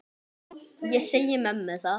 Ég segi mömmu það.